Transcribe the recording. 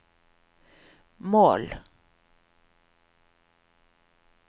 mål